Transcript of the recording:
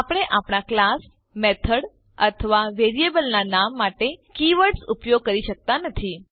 આપણે આપણા class method અથવા વેરિયેબલ નામ માટે કીવર્ડ્સ ઉપયોગ કરી શકતા નથી